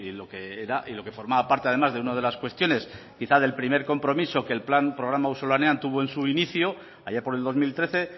lo que era lo que formaba parte además de una de las cuestiones quizá del primer compromiso que el programa auzolanean que tuvo en su inicio allá por el dos mil trece